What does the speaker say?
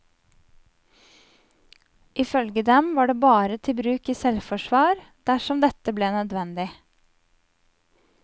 Ifølge dem var det bare til bruk i selvforsvar, dersom det ble nødvendig.